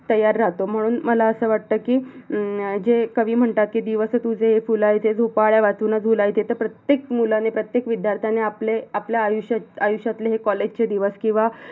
तयार राहतो म्हणून मला अस वाटत कि अं जे कवी म्हणतात कि, 'दिवस तुझे हे फुलायचे, झोपाळ्यावाचून झुलायचे' तर प्रत्येक मुलाने, प्रत्येक विद्यार्थ्याने आपले आपल्या आयुष्या आयुष्यातील हे college चे दिवस किवा